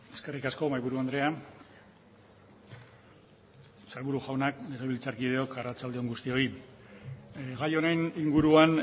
eskerrik asko mahaiburu andrea sailburu jaunak legebiltzarkideok arratsalde on guztioi gai honen inguruan